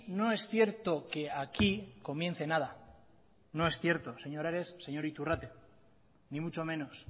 no es cierto que aquí comience nada no es cierto señor ares señor iturrate ni mucho menos